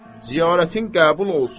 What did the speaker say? Ziyarətin qəbul olsun.